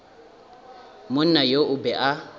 monna yo o be a